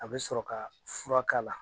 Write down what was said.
A bɛ sɔrɔ ka furakala